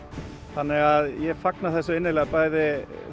þannig að ég fagna þessu bæði